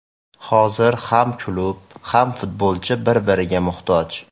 Hozir ham klub, ham futbolchi bir-biriga muhtoj.